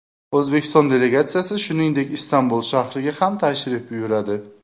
O‘zbekiston delegatsiyasi, shuningdek, Istanbul shahriga ham tashrif buyuradi.